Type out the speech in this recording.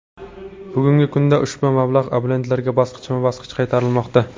Bugungi kunda ushbu mablag‘ abonentlarga bosqichma-bosqich qaytarilmoqda .